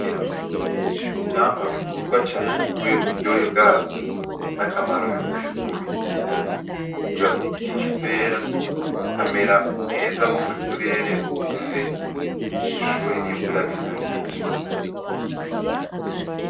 N'ivyamwa bikundwa cane kubera uburyohe bwavyo nakamaro bifise kumubiri, bikurira kugiti c'ipera bikamera neza mu burere bufise ubushuhe n'imvura bihagije.